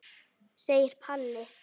segir Palli.